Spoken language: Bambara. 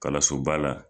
Kalansoba la